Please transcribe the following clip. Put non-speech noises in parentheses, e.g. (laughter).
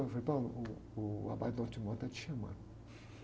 Ele falou, (unintelligible) uh, o abate (unintelligible) está te chamando.